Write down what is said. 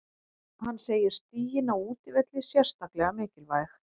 Hann segir stigin á útivelli sérstaklega mikilvæg.